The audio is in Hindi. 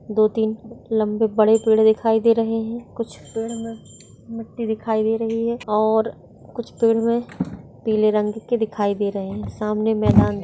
दो तीन लंबे बड़े पेड़ दिखाई दे रहे हैकुछ पेड़ मे और कुछ पेड़ मे पीले रंग की दिखाई दे रहे हैसामने मैदान दिखाई।